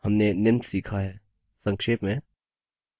हमने निम्न सीखा है संक्षेप में